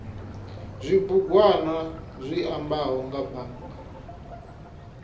zwibugwana zwi ambaho nga bannga